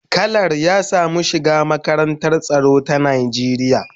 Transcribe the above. Kalar ya samu shiga makarantar tsaro ta Najeriya.